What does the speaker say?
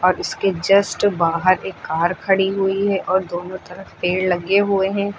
अब इसके जस्ट बाहर एक कार खड़ी हुई है और दोनों तरफ पेड़ लगे हुए हैं।